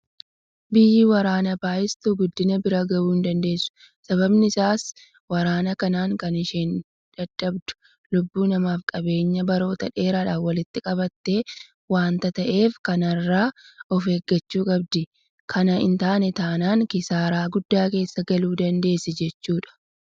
Biyyi waraana baay'istu guddina bira gahuu hindandeessu. Sababiin isaas waraana kanaan kan isheen dhabdu lubbuu namaafi qabeenya baroota dheeraadhaaf walitti qabatte waanta ta'eef kana irraa ofeeggachuu qabdi. Kana hintaane taanaan kisaaraa guddaa keessa galuu dandeessi jechuudha.